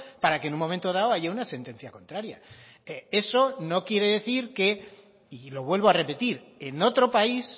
para que en un momento dado haya una sentencia contraria eso no quiere decir que y lo vuelvo a repetir en otro país